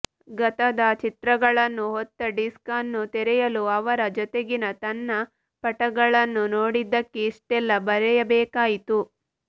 ಗತದ ಚಿತ್ರಗಳನ್ನು ಹೊತ್ತ ಡಿಸ್ಕ್ ಅನ್ನು ತೆರೆಯಲು ಅವರ ಜೊತೆಗಿನ ನನ್ನ ಪಟಗಳನ್ನು ನೋಡಿದ್ದಕ್ಕೆ ಇಷ್ಟೆಲ್ಲಾ ಬರೆಯಬೇಕಾಯಿತು